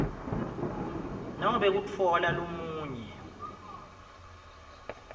nobe kutfola lomunye